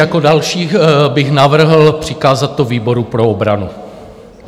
Jako další bych navrhl přikázat to výboru pro obranu.